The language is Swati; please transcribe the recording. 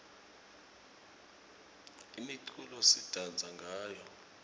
imiculo sidansa ngayo